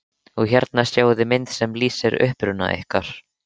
Og hérna sjáiði mynd sem lýsir uppruna ykkar.